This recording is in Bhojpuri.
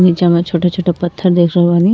नीचे में छोटे छोटे पत्थर देख रहल बानी।